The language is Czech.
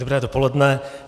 Dobré dopoledne.